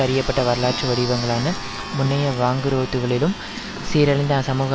அறியப்பட்ட வரலாற்று வடிவங்களான முன்னைய வாங்குரோத்துக்களிலும் சீரளிந்த அசமூக